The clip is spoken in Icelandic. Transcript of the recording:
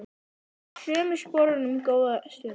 Hann stóð í sömu sporunum góða stund.